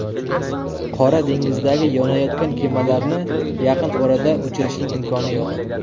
Qora dengizdagi yonayotgan kemalarni yaqin orada o‘chirishning imkoni yo‘q.